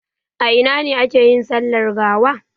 A ina ne ake yin sallar gawa?